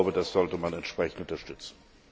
Das sollte man entsprechend unterstützen.